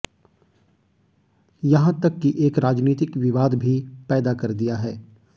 यहां तक कि एक राजनीतिक विवाद भी पैदा कर दिया है